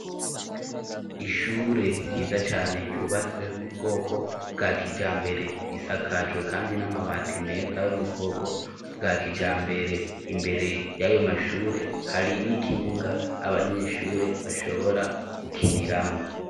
Ishure ryiza cane, ryubatswe mu bwoko bwa kijambere, isakajwe kandi n'amabati meza yo mubwoko bwa kijambere, imbere y'ayo mashure hari n'ikibuga abanyeshure bashobora gukiniramwo.